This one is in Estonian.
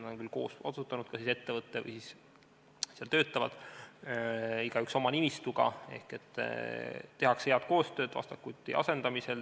Nad on küll koos otsustanud, kas igaüks töötab oma nimistuga või tehakse head koostööd vastastikku üksteise asendamisel.